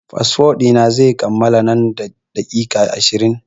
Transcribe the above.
Fasfo ɗi na zai kammala nan da daƙiƙa ashirin.